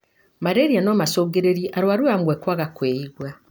Malaria no macungĩrĩrie arwaru amwe kwaga kwĩigua.